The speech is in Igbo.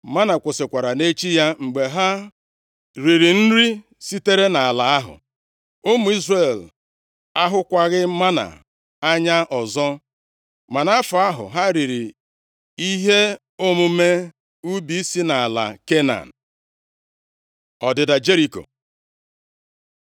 Mánà kwụsịkwara nʼechi ya mgbe ha riri nri sitere nʼala ahụ. Ụmụ Izrel ahụkwaghị mánà anya ọzọ, ma nʼafọ ahụ ha riri ihe omume ubi si nʼala Kenan. Ọdịda Jeriko